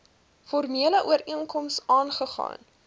formele ooreenkoms aagegaan